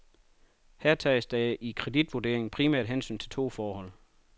Her tages der i kreditvurderingen primært hensyn til to forhold.